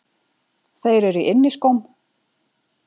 Þeir eru í inniskóm.